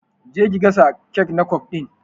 Je ki gasa kek na kwaf din!